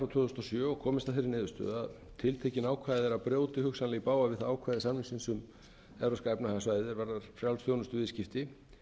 þúsund og sjö og komist að þeirri niðurstöðu að tiltekin ákvæði brjóta hugsanlega í bága við það ákvæði samningsins um evrópska efnahagssvæðið er varðar frjáls þjónustuviðskipti